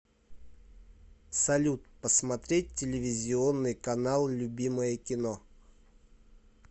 салют посмотреть телевизионный канал любимое кино